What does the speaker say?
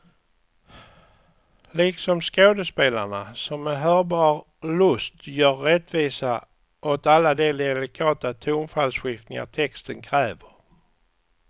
Liksom skådespelarna, som med hörbar lust gör rättvisa åt alla de delikata tonfallsskiftningar texten kräver.